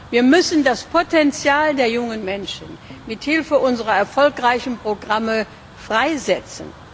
Wir müssen das Potenzial der jungen Menschen mithilfe unserer erfolgreichen Programme freisetzen.